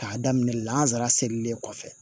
K'a daminɛ lansara selilen kɔfɛ